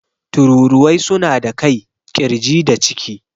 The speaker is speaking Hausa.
Tururuwai suna da kai, ƙirji da ciki.